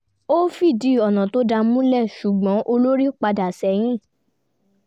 ó fìdí ọ̀nà tó dáa múlẹ̀ ṣùgbọ́n olórí padà sẹ́yìn